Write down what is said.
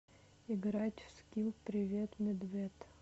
играть в скилл привет медвед